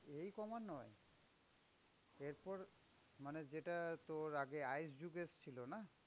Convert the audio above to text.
এই কমা নয়, এরপর মানে যেটা তোর আগে ice যুগ এসেছিলো না?